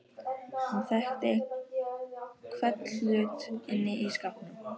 Hún þekkti hvern hlut inni í skálanum.